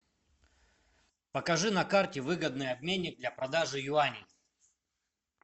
покажи на карте выгодный обменник для продажи юаней